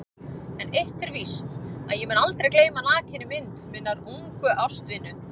En eitt er víst að ég mun aldrei gleyma nakinni mynd minnar ungu ástvinu.